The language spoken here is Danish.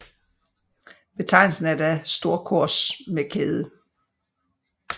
Betegnelsen er da storkors med kæde